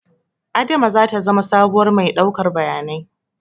Adama zata zama sabuwar mai ɗaukar bayanai